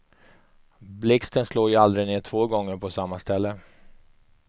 Blixten slår ju aldrig ner två gånger på samma ställe.